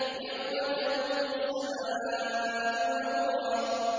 يَوْمَ تَمُورُ السَّمَاءُ مَوْرًا